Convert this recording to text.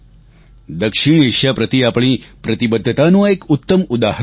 દક્ષિણએશિયા પ્રતિ આપણી પ્રતિબદ્ધતાનું આ એક ઉત્તમ ઉદાહરણ છે